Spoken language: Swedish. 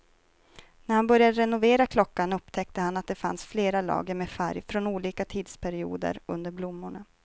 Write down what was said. När han började renovera klockan upptäckte han att det fanns flera lager med färg från olika tidsperioder under blommorna.